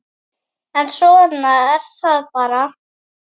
En svona er það bara.